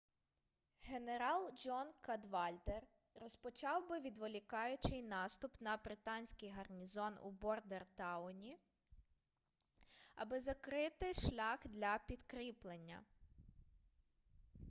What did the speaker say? генерал джон кадвальдер розпочав би відволікаючий наступ на британський гарнізон у бордентауні аби закрити шлях для підкріплення